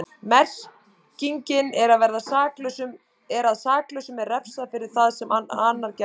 Merkingin er að saklausum er refsað fyrir það sem annar gerði.